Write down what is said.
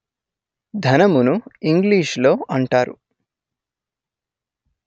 ధనమును ఇంగ్లీషులో అంటారు